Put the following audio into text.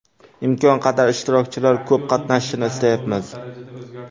Imkon qadar ishtirokchilar ko‘p qatnashishini istayapmiz.